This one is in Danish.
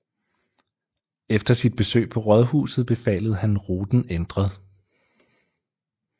Efter sit besøg på rådhuset befalede han ruten ændret